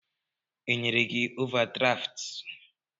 E nyere gị ovadraftụ?